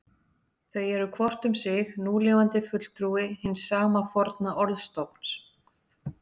Þau eru hvort um sig núlifandi fulltrúi hins sama forna orðstofns.